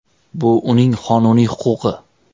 Bu uning qonuniy huquqi.